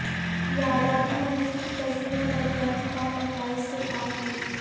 یادادری مندر کی تزئین و ترقیاتی کام نقائص سے پاک ہوں